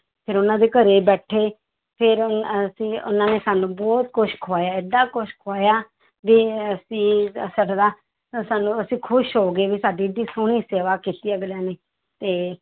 ਫਿਰ ਉਹਨਾਂ ਦੇ ਘਰੇ ਬੈਠੇ, ਫਿਰ ਅਸੀਂ ਉਹਨਾਂ ਨੇ ਸਾਨੂੰ ਬਹੁਤ ਕੁਛ ਖੁਆਇਆ ਏਡਾ ਕੁਛ ਖੁਆਇਆ ਵੀ ਅਸੀਂ ਸਾਡਾ ਤਾਂ ਸਾਨੂੰ ਅਸੀਂ ਖ਼ੁਸ਼ ਹੋ ਗਏ ਵੀ ਸਾਡੀ ਇੱਡੀ ਸੋਹਣੀ ਸੇਵਾ ਕੀਤੀ ਅਗਲਿਆਂ ਨੇ ਤੇ